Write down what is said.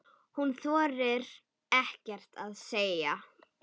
Hún þorir ekkert að segja.